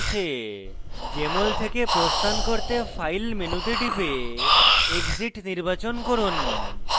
jmol থেকে প্রস্থান করতে file মেনুতে টিপে exit নির্বাচন করুন